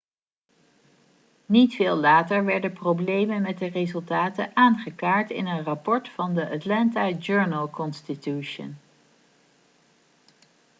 niet veel later werden problemen met de resultaten aangekaart in een rapport van the atlanta journal-constitution